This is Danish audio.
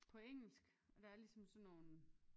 På engelsk og der er ligesom sådan nogle